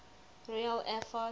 royal air force